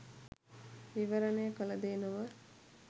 විවරණය කළ දේ නොව